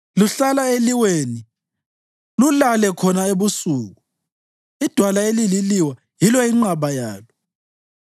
Luhlala eliweni, lulale khona ebusuku; idwala elililiwa yilo inqaba yalo.